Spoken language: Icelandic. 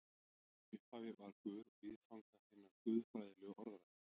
Í upphafi var Guð viðfang hinnar guðfræðilegu orðræðu.